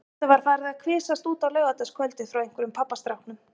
Þetta var farið að kvisast út á laugardagskvöldið frá einhverjum pabbastráknum.